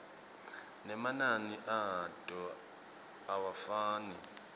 nemanani ato awafani